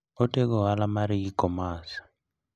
Otego ohala mar e-commerce.